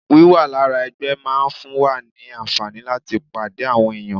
Wíwà lára ẹgbẹ́ máa ń fún wa ní àǹfààní láti pàdé àwọn èèyàn